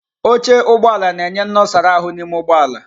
Oche Ụgbọ ala na-enye nnosara ahu n'ime ụgbọ ala.